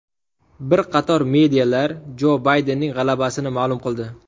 Bir qator medialar Jo Baydenning g‘alabasini ma’lum qildi.